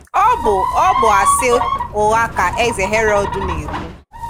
Ọ̀ bụ Ọ̀ bụ àsị / ụgha ka Eze Herod na-ekwù.